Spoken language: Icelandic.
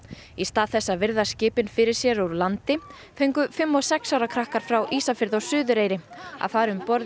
í stað þess að virða skipin fyrir sér úr landi fengu fimm og sex ára krakkar frá Ísafirði og Suðureyri að fara um borð